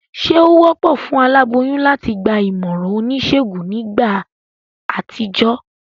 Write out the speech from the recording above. Sé o wópò fún aláboyún láti gba ìmòràn onísègùn nígbà àtijó?